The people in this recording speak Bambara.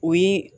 O yi